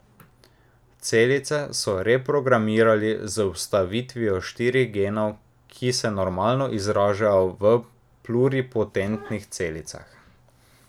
Celice so reprogramirali z vstavitvijo štirih genov, ki se normalno izražajo v pluripotentnih celicah.